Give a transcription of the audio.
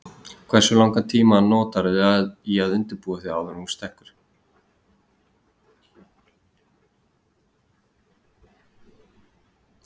Hversu langan tíma notarðu í að undirbúa þig áður en þú stekkur?